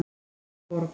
Herborg